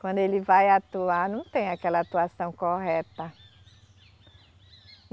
Quando ele vai atuar, não tem aquela atuação correta.